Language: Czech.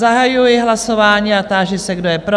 Zahajuji hlasování a táži se, kdo je pro?